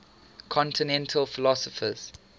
continental philosophers